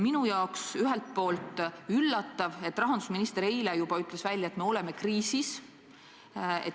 Minu jaoks on ühelt poolt üllatav, et rahandusminister juba eile ütles välja, et me oleme kriisis.